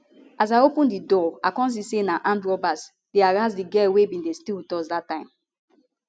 as i open di door i kon see say na armed robbers dey harrass di girl wey bin dey stay wit us dat time